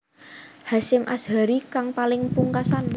Hasyim Asharie kang paling pungkasan